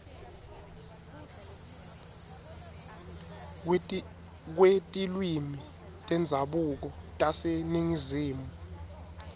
kwetilwimi tendzabuko taseningizimu